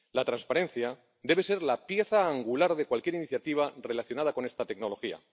La transparencia debe ser la pieza angular de cualquier iniciativa relacionada con esta tecnología.